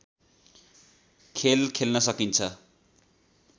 खेल खेल्न सकिन्छ